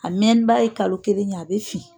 A mɛnniba ye kalo kelen ye a bɛ fin.